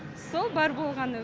сол бар болғаны